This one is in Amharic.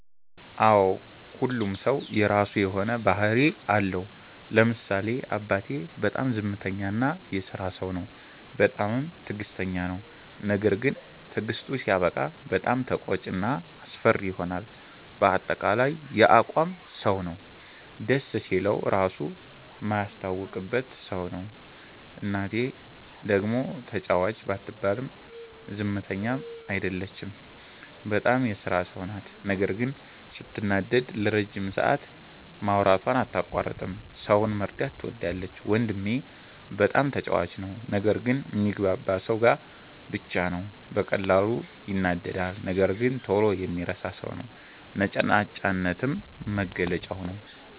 አዎ ሁሉም ሠው የራሱ የሆነ ባህርይ አለው። ለምሳሌ አባቴ፦ በጣም ዝምተኛ እና የስራ ሠው ነው። በጣምም ትግስተኛ ነው። ነገርግን ትግስቱ ሲያበቃ በጣም ተቆጭ እና አስፈሪ ይሆናል በአጠቃላይ የአቋም ሠው ነው። ደስ ሲለው ራሡ ማያስታውቅበት ሠው ነው። እናቴ፦ ደግሞ ተጫዋች ባትባልም ዝምተኛ አይደለችም። በጣም የስራ ሠው ናት ነገር ግን ስትናደድ ለረጅም ሠአት ማውራቷን አታቋርጥም። ሠውን መርዳት ትወዳለች። ወንድሜ፦ በጣም ተጫዋች ነው። ነገር ግን ሚግባባው ሠው ጋር ብቻ ነው። በቀላሉ ይናደዳል ነገር ግን ቶሎ የሚረሣ ሠው ነው። ነጭናጫነትም መገለጫው ነዉ።